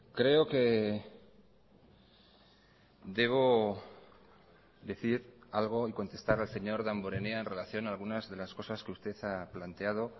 creo que debo decir algo y contestar al señor damborenea en relación a algunas de las cosas que usted ha planteado